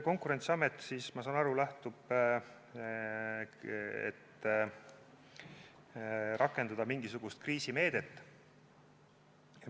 Konkurentsiamet, ma saan aru, lähtub sellest, et tuleks rakendada mingisugust kriisimeedet.